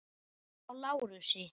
Hjá Lárusi.